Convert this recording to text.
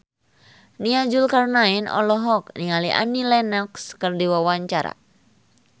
Nia Zulkarnaen olohok ningali Annie Lenox keur diwawancara